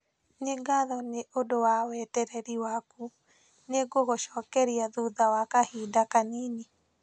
Nĩ ngatho nĩ ũndũ wa wetereri waku, nĩngũgũcokeria thutha wa kahinda kanini.